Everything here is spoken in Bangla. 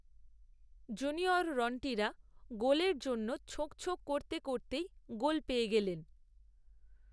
জুনিয়র রন্টিরা গোলের জন্য ছোঁকছোঁক করতে করতেই গোল, পেয়ে গেলেন